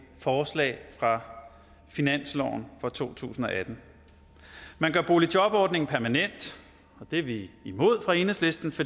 forslag fra finansloven for to tusind og atten man gør boligjobordningen permanent og det er vi imod fra enhedslistens